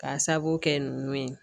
K'a sabu kɛ nunnu ye